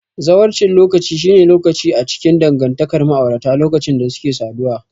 Zawarcin lokaci shine lokaci a cikin dangantakar ma'aurata lokacin da suke saduwa.